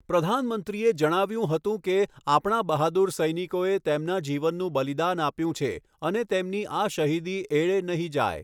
પ્રધાનમંત્રીએ જણાવ્યું હતું કે, આપણા બહાદૂર સૈનિકોએ તેમના જીવનનું બલિદાન આપ્યું છે અને તેમની આ શહીદી એળે નહીં જાય.